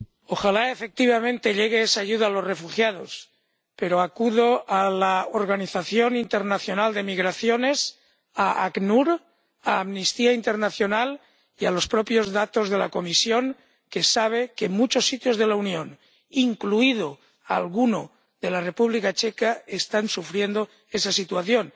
Ojalá, efectivamente, llegue esa ayuda a los refugiados, pero acudo a la Organización Internacional de Migraciones, al ACNUR, a Amnistía Internacional y a los propios datos de la Comisión, que sabe que en muchos sitios de la Unión, incluido alguno de la República Checa, están sufriendo esa situación.